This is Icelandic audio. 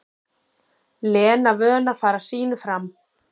Lena vön að fara sínu fram.